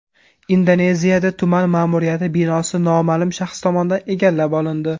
Indoneziyada tuman ma’muriyati binosi noma’lum shaxs tomonidan egallab olindi.